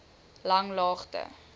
langlaagte